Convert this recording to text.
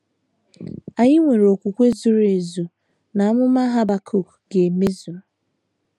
Anyị nwere okwukwe zuru ezu na amụma Habakuk ga - emezu.